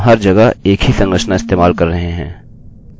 अतः इसको कॉपी और पेस्ट करना काफी सरल होगा